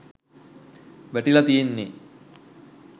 වැටිලා තියෙන්නෙ